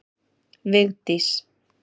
Vigdís